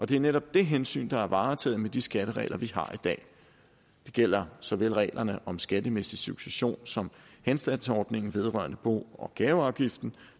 det er netop det hensyn der er varetaget med de skatteregler vi har i dag det gælder såvel reglerne om skattemæssig succession som henstandsordningen vedrørende bo og gaveafgiften